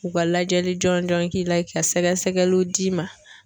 U ka lajɛli jɔn jɔn k'i la ka sɛgɛsɛgɛliw d'i ma